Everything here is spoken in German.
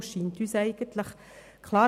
Uns scheint es eigentlich klar.